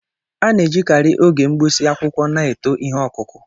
A na-ejikarị oge mgbụsị akwụkwọ na-eto ihe ọkụkụ.